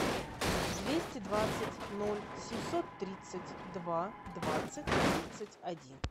двести двадцать ноль семьсот тридцать два двадцать тридцать один